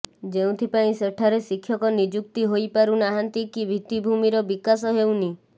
ଯେଉଁଥିପାଇଁ ସେଠାରେ ଶିକ୍ଷକ ନିଯୁକ୍ତି ହୋଇପାରୁ ନାହାନ୍ତି କି ଭିତ୍ତିଭୂମିର ବିକାଶ ହେଉନି